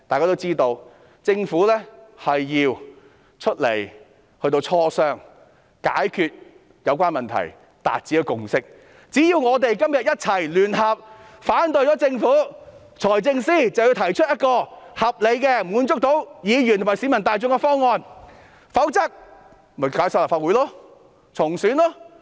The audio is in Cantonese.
屆時，政府要出來磋商，解決有關問題，以期達致共識，所以只要我們今天聯合反對政府，財政司司長便要提出一個合理、可以滿足議員和市民大眾的方案，否則便解散立法會、重選。